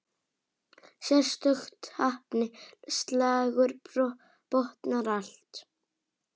Sérstök heppni, slagur botnar allt.